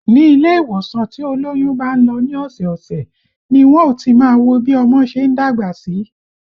Ni ilé ìwòsàn tí olóyún bá ń lọ ní ọ̀sẹ̀ ọ̀sẹ̀ ni wọn ó ti máa wo bí ọmọ ṣe ń dàgbà sí